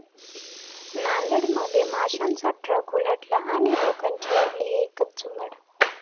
नांदेडमध्ये माशांचा ट्रक उलटला आणि लोकांची उडाली एकच झुंबड!